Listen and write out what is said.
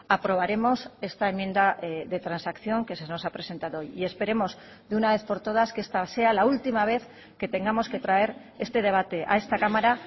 aprobaremos esta enmienda de transacción que se nos ha presentado hoy y esperemos de una vez por todas que esta sea la última vez que tengamos que traer este debate a esta cámara